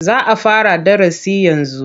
Za a fara darasi yanzu